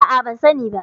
A'a, ban sani ba.